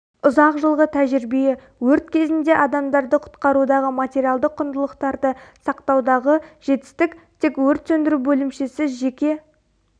ұзақ жылғы тәжірибе өрт кезінде адамдарды құтқарудағы материалдық құндылықтарды сақтаудағы жетістік тек өрт сөндіру бөлімшесі жеке